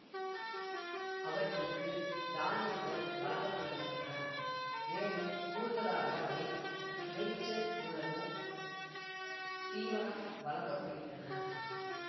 அவற்றுக்கு தானியங்கள் வழங்க படுகின்றன மேலும் கூடுதலாக அவை மேய்ச்சல் மூலமும் தீவனம் வழங்க படுகின்றன